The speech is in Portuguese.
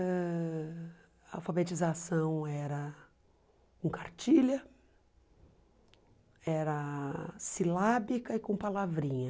Ãh a alfabetização era com cartilha, era silábica e com palavrinha.